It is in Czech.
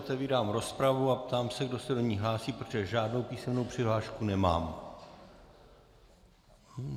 Otevírám rozpravu a ptám se, kdo se do ní hlásí, protože žádnou písemnou přihlášku nemám.